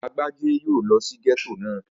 Agbájé yóò lọ sí gẹ́tò náà